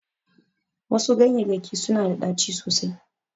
Wasu ganyeyyaki suna da ɗaci sosai.